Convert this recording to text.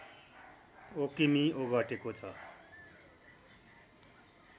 वकिमि ओगटेको छ